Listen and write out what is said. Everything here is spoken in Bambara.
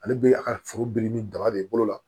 Ale bɛ a ka foro bili ni daba de bolo la